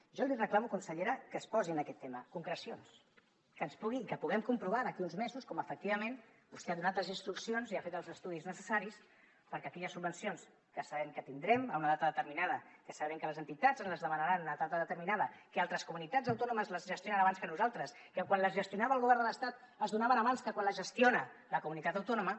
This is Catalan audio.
jo li reclamo consellera que es posi en aquest tema concrecions que puguem comprovar d’aquí a uns mesos com efectivament vostè ha donat les instruccions i ha fet els estudis necessaris perquè aquelles subvencions que sabem que tindrem en una data determinada que sabem que les entitats ens les demanaran en una data determinada que altres comunitats autònomes les gestionen abans que nosaltres que quan les gestionava el govern de l’estat es donaven abans que quan les gestiona la comunitat autònoma